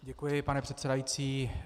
Děkuji, pane předsedající.